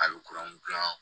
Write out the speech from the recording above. A bɛ kuran dilan